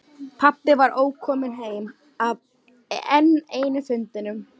Pabbi var ókominn heim af enn einum fundinum.